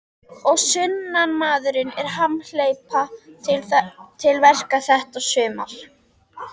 Og sunnanmaðurinn er hamhleypa til verka þetta sumar.